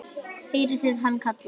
heyrði hann kallað.